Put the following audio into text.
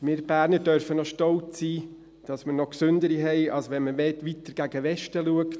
Wir Berner dürfen noch stolz sein, dass wir noch gesündere haben, als wenn man weiter gegen Westen schaut.